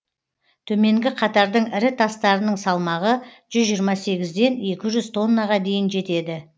төменгі қатардың ірі тастарының салмағы жүз жиырма сегізден екі жүз тоннаға дейін жетеді